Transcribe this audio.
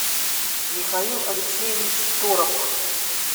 михаил алексеевич торопов